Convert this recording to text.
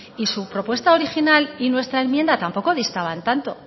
y su propuesta original y nuestra enmienda tampoco distaban tanto